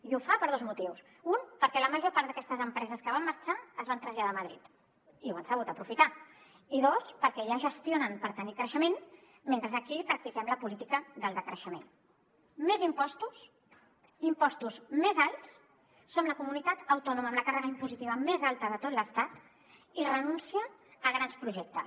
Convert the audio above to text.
i ho fa per dos motius un perquè la major part d’aquestes empreses que van marxar es van traslladar a madrid i ho han sabut aprofitar i dos perquè allà gestionen per tenir creixement mentre aquí practiquem la política del decreixement més impostos impostos més alts som la comunitat autònoma amb la càrrega impositiva més alta de tot l’estat i renúncia a grans projectes